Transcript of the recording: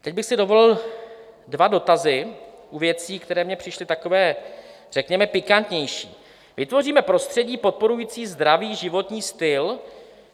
Teď bych si dovolil dva dotazy u věcí, které mně přišly takové řekněme pikantnější: "Vytvoříme prostředí podporující zdravý životní styl."